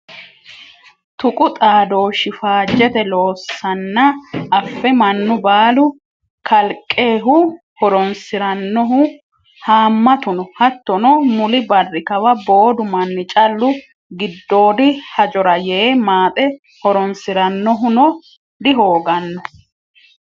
Tuqu xaadooshi faajete loossanna afe mannu baalu kalqehu horonsiranohu hamatu no hattono muli barri kawa boodu manni callu giddoodi hajora yee maaxe horonsiranohuno dihoogano.